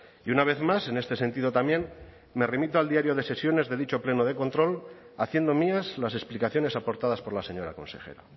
y una vez más en este sentido también me remito al diario de sesiones de dicho pleno de control haciendo mías las explicaciones aportadas por la señora consejera